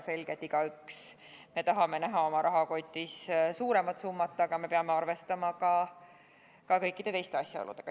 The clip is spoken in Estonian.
Selge see, et igaüks meist tahab näha oma rahakotis suuremat summat, aga me peame arvestama ka kõikide teiste asjaoludega.